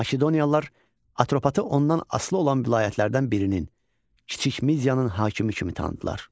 Makedoniyalılar Atropatı ondan asılı olan vilayətlərdən birinin, Kiçik Midiyanın hakimi kimi tanıdılar.